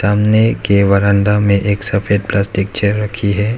सामने के वरंदा में एक सफेद प्लास्टिक चेयर रखी है।